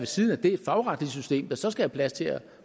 siden af det et fagretligt system der så skal have plads til at